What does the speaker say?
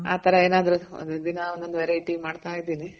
ಆ ತರ ಏನಾದ್ರು ಒಂದು ದಿನಾ ಒಂದೊಂದು variety ಮಾಡ್ತಾ ಇದೀನಿ